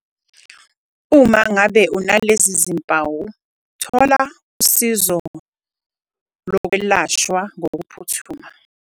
Uma ngabe unalezi zimpawu thola usizo lokwelashwa ngokuphuthuma.